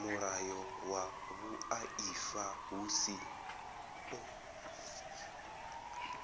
mulayo wa vhuaifa hu si